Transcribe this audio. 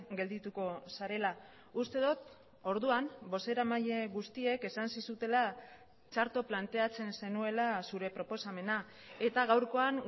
geldituko zarela uste dut orduan bozeramaile guztiek esan zizutela txarto planteatzen zenuela zure proposamena eta gaurkoan